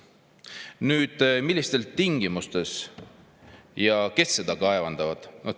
Nüüd, millistes tingimustes ja kes seda kaevandavad?